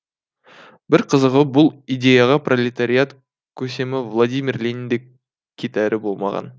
бір қызығы бұл идеяға пролетариат көсемі владимир ленин де кетәрі болмаған